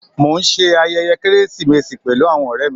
Mọ̀ n ṣẹ ayẹyẹ Keresimesi pẹ̀lú awọn ọ̀rẹ̀ mi